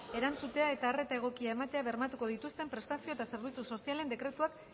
erantzutea eta arreta egokia ematea bermatuko dituzten prestazio eta zerbitzu sozialen dekretuak